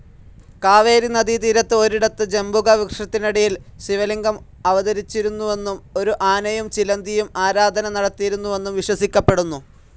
കാവേരി നദീ തീരത്ത് ഒരിടത്ത് ജംബുക വൃക്ഷത്തിനടിയിൽ ശിവലിംഗം അവതരിച്ചുവെന്നും ഒരു ആനയും ചിലന്തിയും ആരാധന നടത്തിയിരുന്നുവെന്നും വിശ്വസിക്കപ്പെടുന്നു.